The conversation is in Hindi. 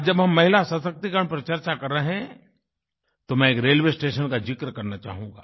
आज जब हम महिला सशक्तीकरण पर चर्चा कर रहे हैं तो मैं एक रेलवे स्टेशन का ज़िक्र करना चाहूँगा